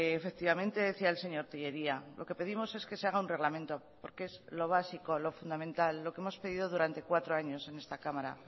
efectivamente decía el señor tellería lo que pedimos es que se haga un reglamento porque es lo básico lo fundamental lo que hemos pedido durante cuatro años en esta cámara